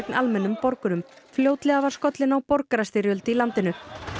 almennum borgurum fljótlega var skollin á borgarastyrjöld í landinu